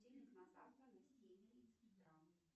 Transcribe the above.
будильник на завтра на семь тридцать утра